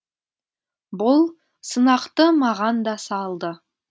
бұл сынақты маған да салды